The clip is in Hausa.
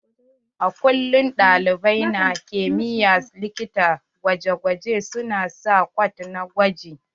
A kullum ɗalibai na kimiyyar likitar gwaje gwaje su na sa kwat na gwaji.